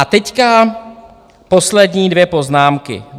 A teď poslední dvě poznámky.